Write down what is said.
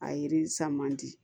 A yiri san man di